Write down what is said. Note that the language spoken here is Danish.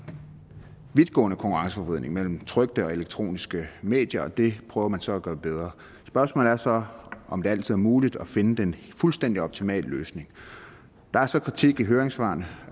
vidtgående konkurrenceforvridning mellem trykte og elektroniske medier og det prøver man så at gøre bedre spørgsmålet er så om det altid er muligt at finde den fuldstændig optimale løsning der er så kritik i høringssvarene